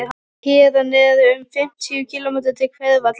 Héðan eru um fimmtíu kílómetrar til Hveravalla.